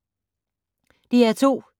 DR2